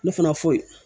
Ne fana foyi